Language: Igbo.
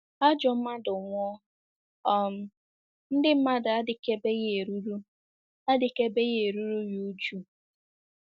Ajọ mmadụ nwụọ, um ndị mmadụ adịkebeghị eruru adịkebeghị eruru ya újú.